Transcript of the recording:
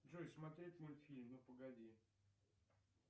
джой смотреть мультфильм ну погоди